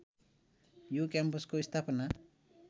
यो क्याम्पसको स्थापना